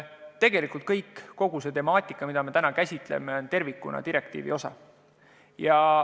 Tegelikult kogu see temaatika, mida me täna käsitleme, on tervikuna direktiivi osa.